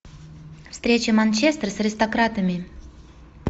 встреча манчестер с аристократами